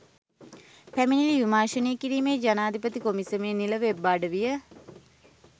පැමිණිලි විමර්ශනය කිරීමේ ජනාධිපති කොමිසමේ නිල වෙබ් අඩවිය